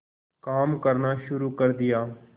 काम करना शुरू कर दिया